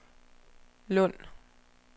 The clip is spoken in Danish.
Lund